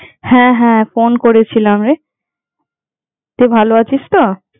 হ্যাঁ হ্যাঁ, ফোন করেছিলাম রে, তুই ভালো আছিস তো?